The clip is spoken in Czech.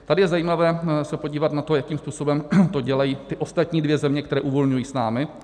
Tady je zajímavé se podívat na to, jakým způsobem to dělají ty ostatní dvě země, které uvolňují s námi.